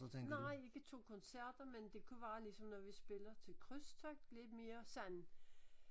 Nej ikke 2 koncerter men det kunne være ligesom når vi spiller til krydstogt lidt mere sådan